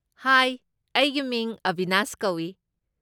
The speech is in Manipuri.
ꯍꯥꯏ, ꯑꯩꯒꯤ ꯃꯤꯡ ꯑꯕꯤꯅꯥꯁ ꯀꯧꯏ꯫